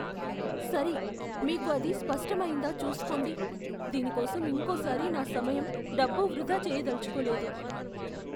సరే, మీకు అది స్పష్టమయిందా చూస్కోండి. దీని కోసం ఇంకోసారి నా సమయం, డబ్బు వృధా చేయదలచుకోలేదు.